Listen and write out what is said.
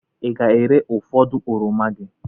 Ị ga-ere ụfọdụ oroma gị?